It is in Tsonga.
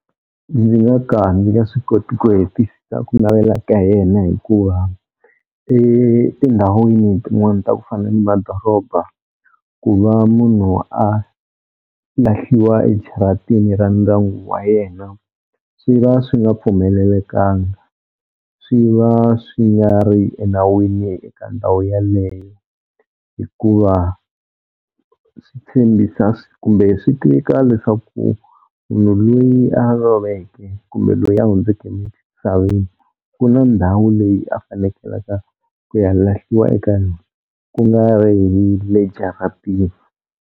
Ndzi nga ka ndzi nga swi koti ku hetisisa ku navela ka yena hikuva etindhawini tin'wana ta ku fana ni madoroba ku va munhu a lahliwa ejaratini ra ndyangu wa yena swi va swi nga pfumelelekanga swi va swi nga ri enawini eka ndhawu yaleyo, hikuva swi tshembisa kumbe swi tika leswaku munhu loyi a loveke kumbe loyi a hundzeke emisaveni ku na ndhawu leyi a fanekelaka ku ya lahliwa eka yona ku nga ri hi le jaratini.